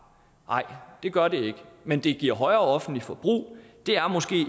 nej det gør det ikke men det giver højere offentligt forbrug og det er måske